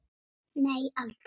Nei aldrei.